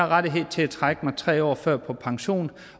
rettighed til at trække mig tre år før og gå på pension